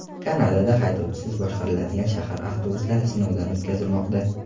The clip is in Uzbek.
Kanadada haydovchisiz boshqariladigan shahar avtobuslari sinovdan o‘tkazilmoqda .